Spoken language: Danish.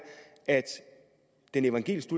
at den evangelisk